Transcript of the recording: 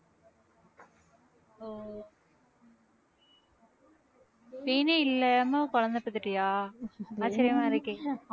pain ஏ இல்லாம குழந்தை பெத்துட்டியா ஆச்சரியமா இருக்கே